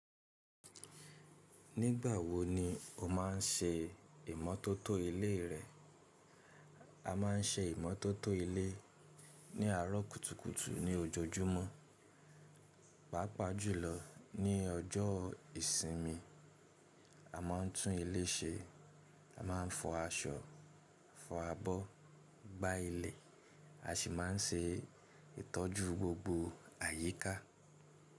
Nígbà wo ni o má ń ṣe ìmótótó ilé rẹ? A má ń ṣe ìmótótó ilé ní àárọ̀ kùtùkùtù ní ojoojúmọ́, pàápàá jùlọ ní ọjọ́ ìsinmi. A má ń tún ilé ṣe, a má ń fọ aṣọ, fọ abọ́, gbá ilẹ̀, a sì má ń ṣe ìtọ́jú gbogbo àyíká.